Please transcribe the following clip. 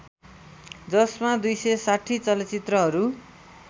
जसमा २६० चलचित्रहरू